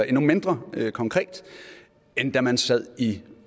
endnu mindre konkret end da man sad i